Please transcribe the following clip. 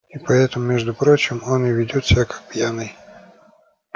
и поэтому между прочим он и ведёт себя как пьяный